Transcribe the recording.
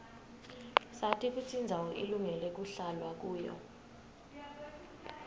sati kutsi indzawo ilungele kuhlalwa kuyo